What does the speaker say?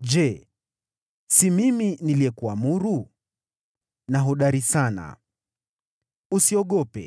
Je, si mimi niliyekuamuru? Uwe hodari na shujaa. Usihofu